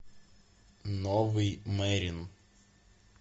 новый мерин